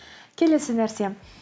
келесі нәрсе